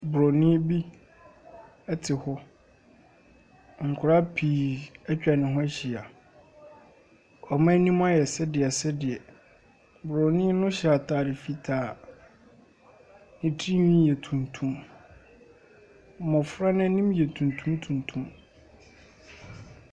Broni bi ɛte hɔ. Nkɔlaa pii atwa ne ho ahyia. Ɔmo anim ayɛ sedeɛ sedeɛ. Bronii no ahyɛ ataade fitaa. Ne tiri nwi yɛ tuntum. Mmofra n'anim yɛ tuntum tuntum.